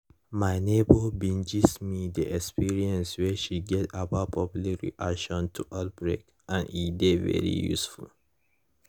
my neighbor bin gist me the experience wey she get about public reaction to outbreak and e dey very useful